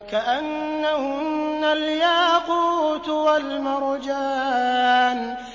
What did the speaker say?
كَأَنَّهُنَّ الْيَاقُوتُ وَالْمَرْجَانُ